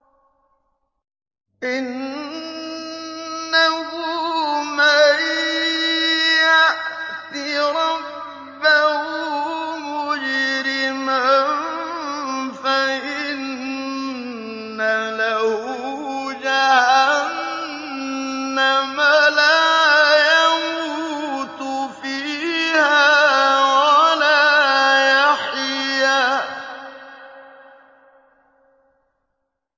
إِنَّهُ مَن يَأْتِ رَبَّهُ مُجْرِمًا فَإِنَّ لَهُ جَهَنَّمَ لَا يَمُوتُ فِيهَا وَلَا يَحْيَىٰ